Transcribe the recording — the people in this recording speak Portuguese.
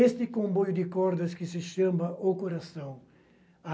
Este comboio de cordas que se chama O Coração. A